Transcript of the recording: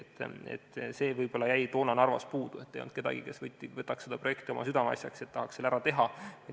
See jäi võib-olla toona Narvas puudu, et ei olnud kedagi, kes võtaks selle projekti oma südameasjaks ja tahaks selle ära teha.